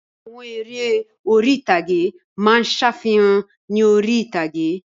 Àwọn eré orí-ìtàgé máa ń ṣàfihàn ní orí-ìtàgé